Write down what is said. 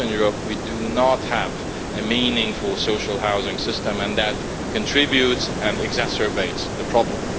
In Eastern Europe we do not have a meaningful social housing system, and that contributes to, and exacerbates, the problem.